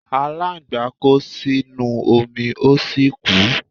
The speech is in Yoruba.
Aláǹgbá kó sínú omi ó sì kú.